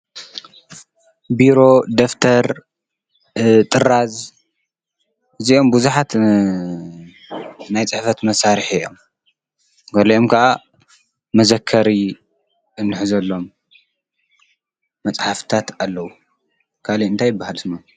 ቢሮ፣ ደፍተር፣ ጥራዝ እዚኦም ብዙሓት ናይ ፅሕፈት መሣርሒ እዮም፡፡ ገሊኦም ከዓ መዘከሪ እንሕዘሎም መፅሐፍታት ኣለዉ፡፡ ካልይእ እንታ ይበሃል ሽሞም?